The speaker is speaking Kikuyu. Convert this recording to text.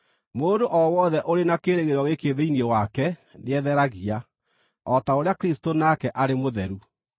Mũndũ o wothe ũrĩ na kĩĩrĩgĩrĩro gĩkĩ thĩinĩ wake nĩetheragia, o ta ũrĩa Kristũ nake arĩ mũtheru.